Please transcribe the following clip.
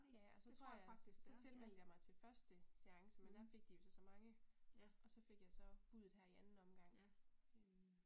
Ja og så tror jeg så tilmeldt jeg mig til første seance men der fik de jo så så mange og så fik jeg så buddet her i anden omgang øh